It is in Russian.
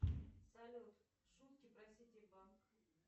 салют шутки про сити банк